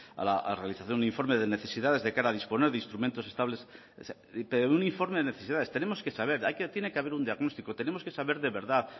a la realización de un informe de necesidades de cara a disponer de instrumentos estables pero un informe de necesidades tenemos que saber tiene que haber un diagnóstico tenemos que saber de verdad